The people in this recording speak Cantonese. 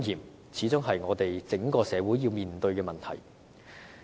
這始終是我們整個社會要面對的問題。